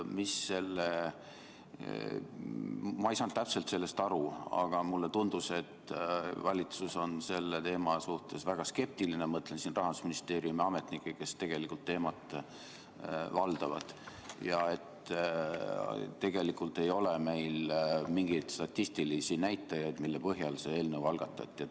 Ma ei saanud täpselt sellest aru, aga mulle tundus, et valitsus on selle teema suhtes väga skeptiline – mõtlen siin Rahandusministeeriumi ametnikke, kes tegelikult teemat valdavad – ja et tegelikult ei ole meil mingeid statistilisi näitajaid, mille põhjal see eelnõu algatati.